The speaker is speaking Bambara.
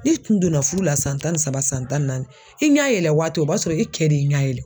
Ni tun donna fudu la san tan ni saba san tan naani, i ɲɛ yɛlɛ waati o b'a sɔrɔ i kɛ de y'i ɲa yɛlɛ.